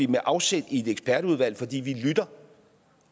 med afsæt i et ekspertudvalg fordi vi lytter